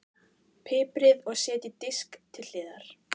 Piprið og setjið á disk til hliðar.